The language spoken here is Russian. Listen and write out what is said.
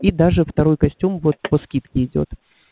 и даже второй костюм вот по скидке идёт